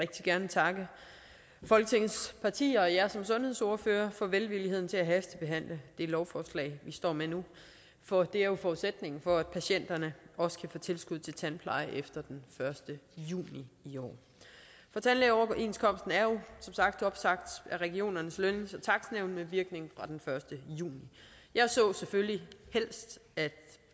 gerne takke folketingets partier og jer som sundhedsordførere for velvilligheden til at hastebehandle det lovforslag vi står med nu for det er jo forudsætningen for at patienterne også kan få tilskud til tandpleje efter den første juni i år tandlægeoverenskomsten er jo som sagt opsagt af regionernes lønnings og takstnævn med virkning fra den første juni jeg så selvfølgelig helst at